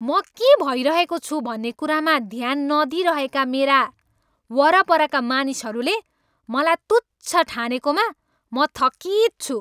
म के भइरहेको छु भन्ने कुरामा ध्यान नदिइरहेका मेरा वरपरका मानिसहरूले मलाई तुच्छ ठानेकोमा म थकित छु।